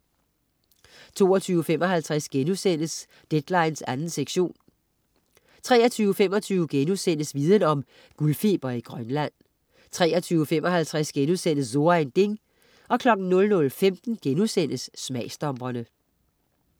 22.55 Deadline 2. sektion* 23.25 Viden Om: Guldfeber i Grønland* 23.55 So ein Ding* 00.15 Smagsdommerne*